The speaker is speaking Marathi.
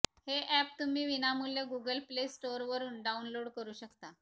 हे अॅप तुम्ही विनामूल्य गुगल प्ले स्टोअरवरून डाऊनलोड करू शकता